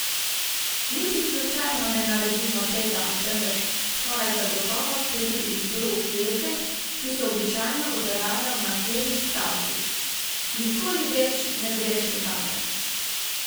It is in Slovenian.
Niti slučajno ne naredimo tega, temveč skoraj zagotovo sledi izbruh jeze, ki se običajno odraža v naslednjih stavkih: 'Nikoli več ne greš nikamor!